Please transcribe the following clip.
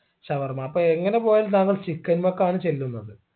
ഷവർമ അപ്പോ എങ്ങനെ പോയാലും താങ്കൾ chicken ലേക്കാണ് ചെല്ലുന്നത്